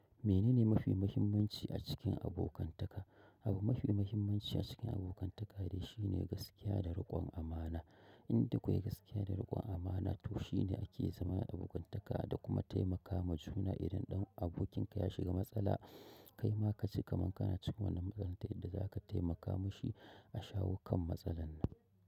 Menene mafi muhimmanci a cikin abokantaka? Abu mafi muhimmanci a cikin abokantaka dai shine gaskiya da riƙon amana. In dakwai gaskiya da riƙon amana to shine ake zama abokantaka da kuma taimaka ma juna idan ɗan abokinka ya shiga matsala kai ma ka ji kaman kana cikin wannan matsalar da za ka taimaka mishi a shawo kan matsalar nan.